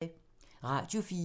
Radio 4